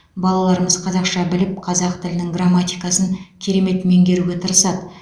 балаларымыз қазақша біліп қазақ тілінің грамматикасын керемет меңгеруге тырысады